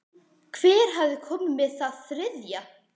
Hver hafði komið með það þriðja?